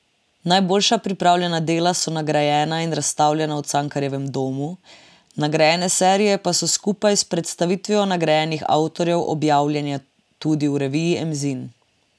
Najboljša prijavljena dela so nagrajena in razstavljena v Cankarjevem domu, nagrajene serije pa so skupaj s predstavitvijo nagrajenih avtorjev objavljene tudi v reviji Emzin.